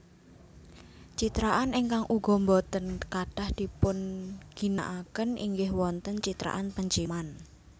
Citraan ingkang uga boten katah dipunginakaken inggih wonten citraan penciuman